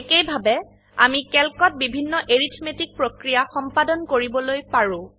একেইভাবে আমি ক্যালক ত বিভিন্ন এৰিথমেটিক প্ৰক্ৰিয়া সম্পাদন কৰিবলৈ পাৰো